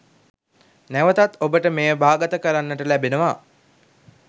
නැවතත් ඔබට මෙය භාගත කරගන්නට ලැබෙනවා